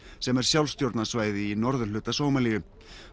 sem er sjálfstjórnarsvæði í norðurhluta Sómalíu